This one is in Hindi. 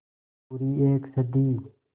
पूरी एक सदी